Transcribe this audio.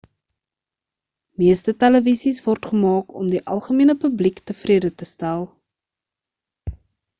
meeste televisies word gemaak om die algemene publiek tevrede te stel